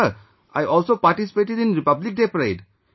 And Sir, I also participated in Republic Day Parade